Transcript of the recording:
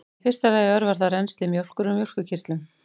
í fyrsta lagi örvar það rennsli mjólkur úr mjólkurkirtlum